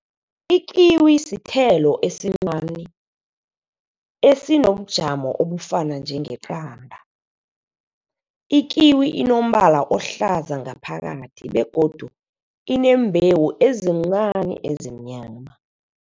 Ikiwi sithelo esincani esinobujamo obufana njengeqanda. Ikiwi inombala ohlaza ngaphakathi begodu ineembhewu ezincani ezimnyama.